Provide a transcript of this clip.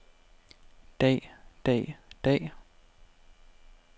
dag dag dag